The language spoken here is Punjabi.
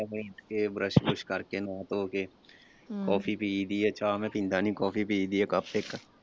ਉਠਕੇ brush ਬਰੂਸ਼ ਕਰ ਕੇ ਨਾਂਹ ਧੋ ਕੇ ਕਾੱਫੀ ਪੀਇਦੀ ਆ ਚਾਹ ਮੈਂ ਪੀਂਦਾ ਨਹੀਂ ਕਾਫੀ ਪੀਇਦੀ ਆ cup ਇੱਕ।